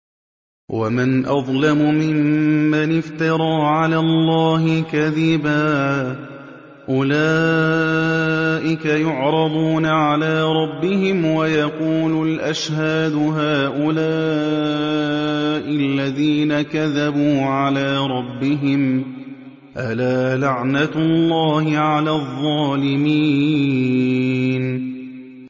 وَمَنْ أَظْلَمُ مِمَّنِ افْتَرَىٰ عَلَى اللَّهِ كَذِبًا ۚ أُولَٰئِكَ يُعْرَضُونَ عَلَىٰ رَبِّهِمْ وَيَقُولُ الْأَشْهَادُ هَٰؤُلَاءِ الَّذِينَ كَذَبُوا عَلَىٰ رَبِّهِمْ ۚ أَلَا لَعْنَةُ اللَّهِ عَلَى الظَّالِمِينَ